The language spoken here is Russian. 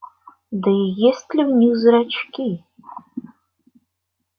да и есть ли у них зрачки